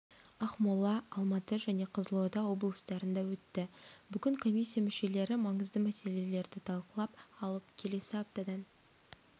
ақмола алматы және қызылорда облыстарында өтті бүгін комиссия мүшелері маңызды мәселедерді талқылап алып келесі аптадан